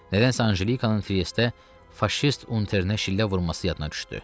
Nədənsə Anjelikanın Triestdə faşist unterinə şillə vurması yadına düşdü.